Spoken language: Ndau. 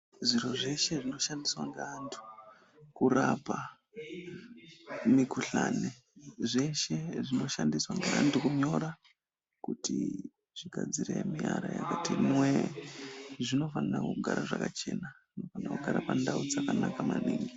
Zviro zveshe zvinoshandiswa ngaantu kurapa mikhuhlane, zveshe zvinoshandiswa ngaantu kunyora kuti zvigadzire miara yakati nwee zvinofana kugara zvakachena nekugara pandau dzakanaka maningi.